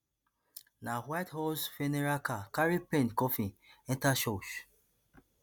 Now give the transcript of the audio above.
na white horse funeral car carry payne coffin enta church